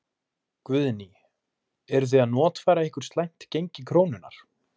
Guðný: Eruð þið að notfæra ykkur slæmt gengi krónunnar?